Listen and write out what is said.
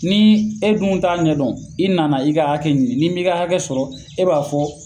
Ni e dun t'a ɲɛdɔn , i nana i ka hakɛ ɲini ni mi ka hakɛ sɔrɔ e b'a fɔ